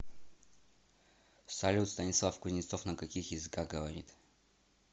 салют станислав кузнецов на каких языках говорит